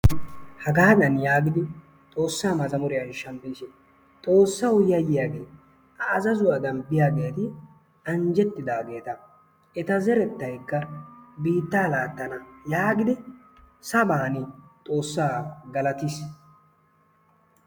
jhagaadan yaagidi xoosaa mazzamuriya yexoosona xoosawu yayiyaage a azzazzuwadan biyageeti anjjetidaageeta eta zeretaykka biittaa laatana yaagidi sabaani xoosaa galattiis.